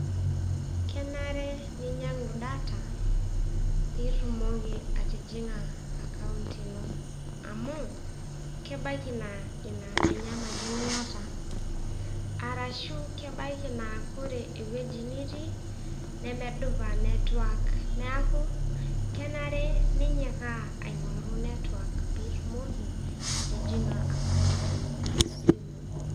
Kenare ninyang'u data piitumoki atijing'a account ino amu kebaiki naa ina enyamali niata, arashu kebaiki naa kore ewueji nitii nemedupa network, neeku kenare ninyikaa aing'oru network pee itumoki atijing'a account ino e eCitizen.